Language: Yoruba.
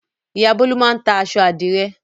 Ìyá Bólú máa ń ta aṣọ àdìrẹ́.